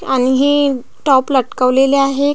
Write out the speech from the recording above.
आणि हे टॉप लटकवलेले आहे.